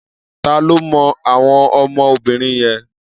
Ta ló mọ àwọn ọmọ obìnrin yẹn?